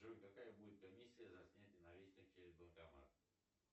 джой какая будет комиссия за снятие наличных через банкомат